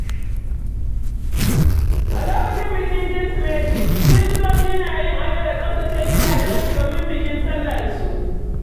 A lokacin bikin Kirsimeti, Kiristoci na yin ado da tsaftace gidajensu domin bikin sallarsu.